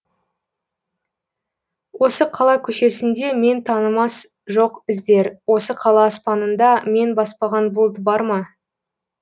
осы қала көшесінде мен танымас жоқ іздер осы қала аспанында мен баспаған бұлт бар ма